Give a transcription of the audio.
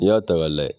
N'i y'a ta ka lajɛ